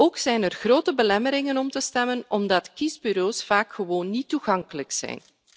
Ook zijn er grote belemmeringen om te stemmen, omdat kiesbureaus vaak gewoon niet toegankelijk zijn.